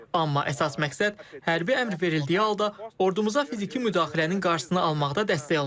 Amma əsas məqsəd hərbi əmr verildiyi halda ordumuza fiziki müdaxilənin qarşısını almaqda dəstək olmaqdır.